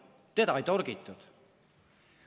Teda ei torgitud.